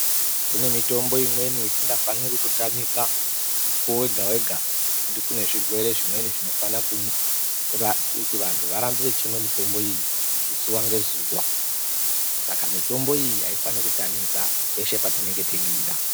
Kune mitombo imweni isikafaniri kutotamika mukowo wega wega ngekuti kune zvimweni zvirwere zvinofanirwa kuti vandu varambe vachinwa mitombo iyi zuwa ngezuwa, saka mitombo iyi aifaniki kutamika peshe patinenge teida.